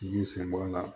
Bin sɛnbɔla